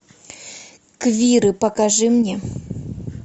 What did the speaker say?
квиры покажи мне